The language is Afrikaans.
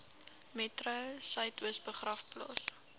metro suidoos begraafplaas